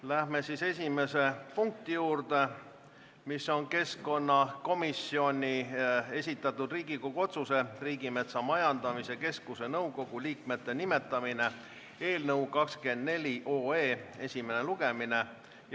Läheme esimese punkti juurde: keskkonnakomisjoni esitatud Riigikogu otsuse "Riigimetsa Majandamise Keskuse nõukogu liikmete nimetamine" eelnõu esimene lugemine.